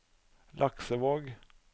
Laksevåg